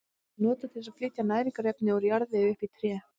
Vatn er notað til að flytja næringarefni úr jarðvegi upp í tréð.